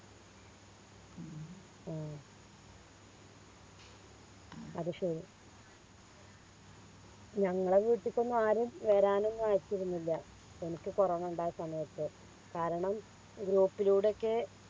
ഉം ആഹ് അത് ശരി ഞങ്ങളെ വീട്ടിക്കൊന്നും ആരും വരാനൊന്നും ഇരുന്നില്ല എനിക്ക് കൊറോണ ഉണ്ടായ സമയത്ത് കാരണം Group ലൂടെ ഒക്കെ